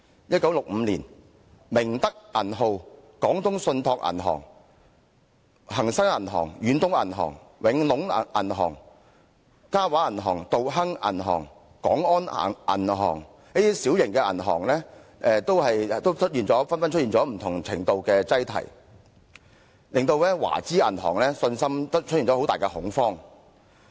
1965年，明德銀號、廣東信託銀行、恒生銀行、遠東銀行、永隆銀行、嘉華銀行、道亨銀行和廣安銀行等小型銀行紛紛出現不同程度的擠提，令市民對華資銀行失去信心，出現很大恐慌。